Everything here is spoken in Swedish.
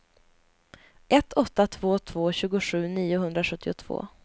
ett åtta två två tjugosju niohundrasjuttiotvå